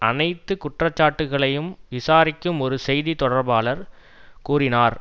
அனைத்து குற்றச்சாட்டுக்களையும் விசாரிக்கும் ஒரு செய்தி தொடர்பாளர் கூறினார்